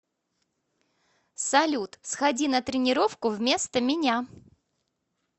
салют сходи на тренировку вместо меня